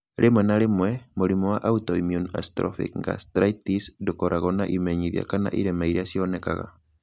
Rĩmwe na rĩmwe, mũrimũ wa autoimmune atrophic gastritis ndũkoragwo na imenyithia kana irema iria cionekaga.